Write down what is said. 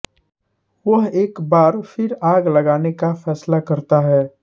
वह एक बार फिर आग लगाने का फैसला करता है